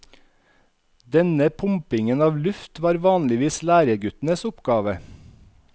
Denne pumpingen av luft var vanligvis læreguttens oppgave.